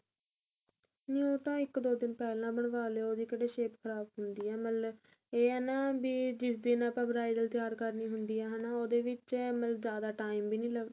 ਨੀ ਉਹ ਤਾਂ ਇੱਕ ਦੋ ਦਿਨ ਪਹਿਲਾਂ ਬਣਵਾ ਲਿਉ ਉਹਦੀ ਕਿਹੜਾ shape ਖਰਾਬ ਹੁੰਦੀ ਏ ਮਤਲਬ ਇਹ ਏ ਨਾ ਵੀ ਜਿਸ ਦਿਨ ਆਪਾਂ bridal ਤਿਆਰ ਕਰਨੀ ਹੁੰਦੀ ਏ ਹਨਾ ਉਹਦੇ ਵਿੱਚ ਜਿਆਦਾ time ਵੀ ਨਹੀਂ ਲੱਗਦਾ